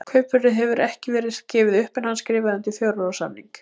Kaupverðið hefur ekki verið gefið upp en hann skrifaði undir fjögurra ára samning.